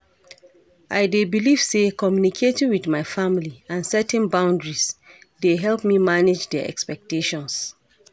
I dey believe say communicating with my family and setting boundaries dey help me manage dia expectations.